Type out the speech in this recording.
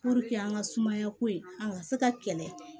an ka sumaya ko in an ka se ka kɛlɛ